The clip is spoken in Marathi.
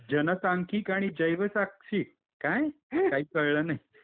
जनसांख्यिक आणि जैवसाक्षीक काय? काही कळलं नाही .